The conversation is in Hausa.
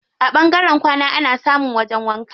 A ɓangaren kwana ana samun wajen wanka.